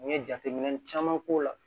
N ye jateminɛ caman k'o la